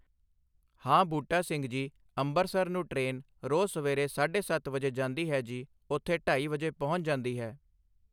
ਹਾਂ ਬੂਟਾ ਸਿੰਘ ਜੀ ਅੰਬਰਸਰ ਨੂੰ ਟ੍ਰੇਨ ਰੋਜ਼ ਸਵੇਰੇ ਸਾਢੇ ਸੱਤ ਵਜੇ ਜਾਂਦੀ ਹੈ ਜੀ ਉੱਥੇ ਢਾਈ ਵਜੇ ਪਹੁੰਚ ਜਾਂਦੀ ਹੈ